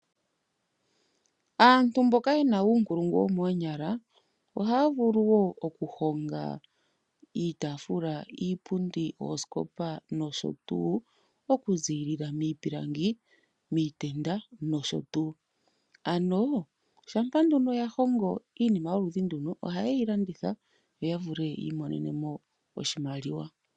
Aantu mboka yena uunkulungu womoonyala ohaya vuluwo oku honga iitafula ,iipundi ,oosikopa nosho tuu oku zilila miipilangi miitenda nosho tuu. Ano shampa nduno ya hongo iinima yoludhi nduno ohaye yi landitha yo ya vule yi monenemo oshimaliwa.